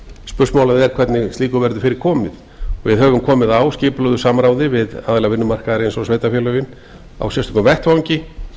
spursmálið er hvernig slíku verði fyrir komið við höfum komið á skipulögðu samráði við aðila vinnumarkaðarins og sveitarfélögin á sérstökum vettvangi